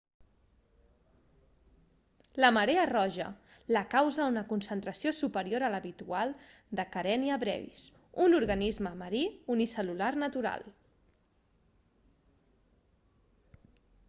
la marea roja la causa una concentració superior a l'habitual de karenia brevis un organisme marí unicel·lular natural